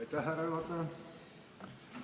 Lugupeetud härra juhataja!